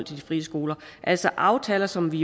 de frie skoler altså aftaler som vi